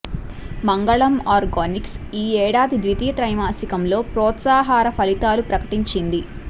మంగళం ఆర్గానిక్స్ ఈ ఏడాది ద్వితీయ త్రైమాసికంలో ప్రోత్సాహకర ఫలితాలు ప్రకటించింది